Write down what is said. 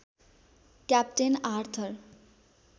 captain Arthur